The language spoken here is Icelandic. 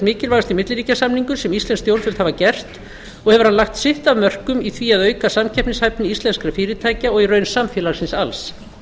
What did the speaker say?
mikilvægasti milliríkjasamningur sem íslensk stjórnvöld hafa gert og hefur hann lagt sitt af mörkum í því að auka samkeppnishæfni íslenskra fyrirtækja og í raun samfélagsins alls